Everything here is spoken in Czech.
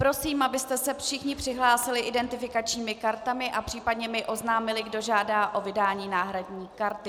Prosím, abyste se všichni přihlásili identifikačními kartami a případně mi oznámili, kdo žádá o vydání náhradní karty.